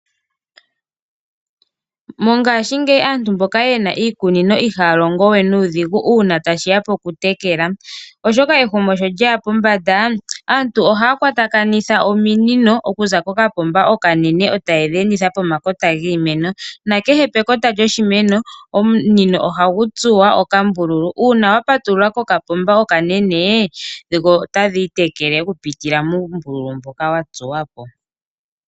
Mongashingeyi aantu mboka ye na iikunino ihaya longo we nuudhigu uuna tashiya pokutekela oshoka ehumo sho lyeya pombanda aantu ohaya kwatakanitha ominino okuza kokapomba okanene tayedhi enditha pomakota giimeno nakehe pekota lyoshimeno omunino ohagu tsuwa okambululu. Uuna wapatulula kokapomba okanene dho otadhi itekele okupitila muumbululu mboka wa tsuwa po.